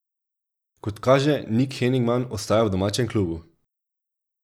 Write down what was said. Kot kaže, Nik Henigman ostaja v domačem klubu.